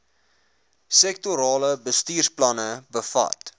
sektorale bestuursplanne bevat